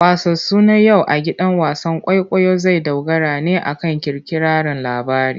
Wasansu na yau a gidan wasan kwaikwayo zai dogara ne akan kirkirarren labari.